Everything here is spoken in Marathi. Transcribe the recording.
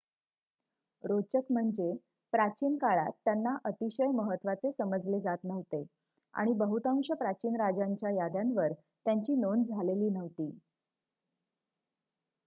रोचक म्हणजे प्राचीन काळात त्यांना अतिशय महत्वाचे समजले जात नव्हते आणि बहुतांश प्राचीन राजांच्या याद्यांवर त्यांची नोंद झालेली नव्हती